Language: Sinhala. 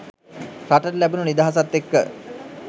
රටට ලැබුණු නිදහසත් එක්ක